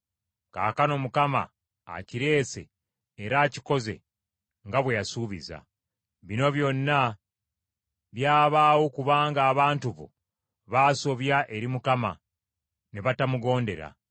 Kaakano Mukama akireese era akikoze nga bwe yasuubiza. Bino byonna byabaawo kubanga abantu bo baasobya eri Mukama ne batamugondera.